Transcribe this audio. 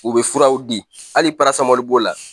U bɛ furaw di hali parasamɔli b'o la.